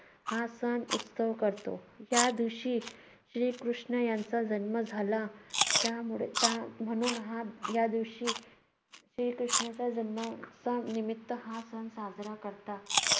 हा सण उत्सव करतो. या दिवशी श्रीकृष्ण यांचा जन्म झाला. त्यामुळे त्या म्हणून या दिवशी श्रीकृष्णाचा जन्माच्या निमित्त हा सण साजरा करतात.